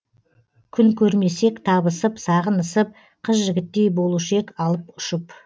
күн көрмесек табысып сағынысып қыз жігіттей болушы ек алып ұшып